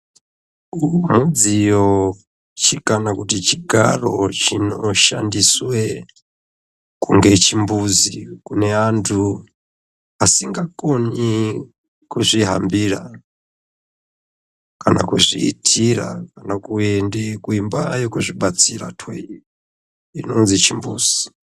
Uwu mudziyo kana kuti chigaro chinoshandiswe kunge chimbuzi kune antu asingakoni kuzvihambira kana kuzviitira nekuende kuimba yekuzvibatsira toireti inonzi chimbuzi.